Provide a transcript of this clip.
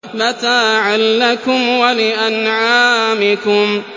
مَّتَاعًا لَّكُمْ وَلِأَنْعَامِكُمْ